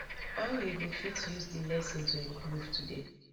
how you go fit use di lesson to improve today